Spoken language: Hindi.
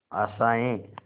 आशाएं